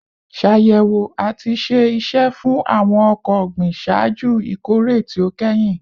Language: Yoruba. Ṣayẹwo ati ṣe iṣẹ fun awọn ọkọ ogbin ṣaaju ikore ti o kẹhin